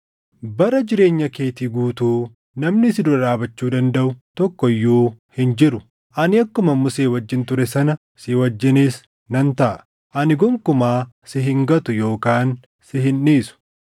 Bara jireenya keetii guutuu namni si dura dhaabachuu dandaʼu tokko iyyuu hin jiru. Ani akkuman Musee wajjin ture sana si wajjinis nan taʼa; ani gonkumaa si hin gatu yookaan si hin dhiisu.